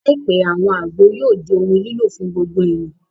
Láìpẹ́, àwọn àgbo yóò di ohun lílò fún gbogbo èèyàn